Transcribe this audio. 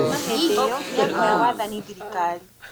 Kuuma hĩndĩ ĩyo, nĩ akoya wathani thirikari.